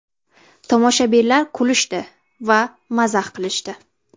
Tomoshabinlar kulishdi va mazax qilishdi.